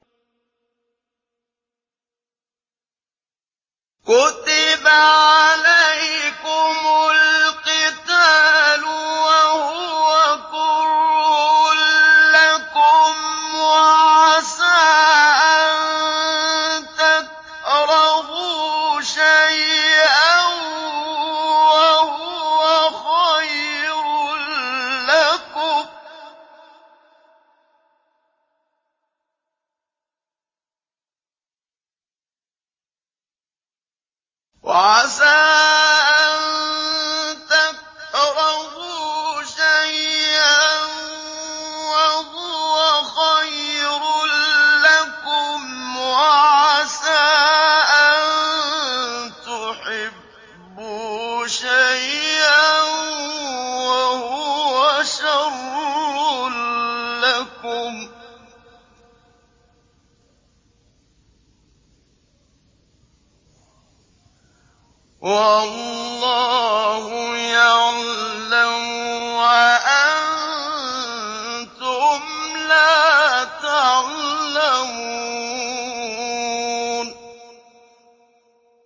كُتِبَ عَلَيْكُمُ الْقِتَالُ وَهُوَ كُرْهٌ لَّكُمْ ۖ وَعَسَىٰ أَن تَكْرَهُوا شَيْئًا وَهُوَ خَيْرٌ لَّكُمْ ۖ وَعَسَىٰ أَن تُحِبُّوا شَيْئًا وَهُوَ شَرٌّ لَّكُمْ ۗ وَاللَّهُ يَعْلَمُ وَأَنتُمْ لَا تَعْلَمُونَ